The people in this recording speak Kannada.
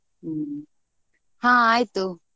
ಹ್ಮ್ , ಹಾ ಆಯ್ತು.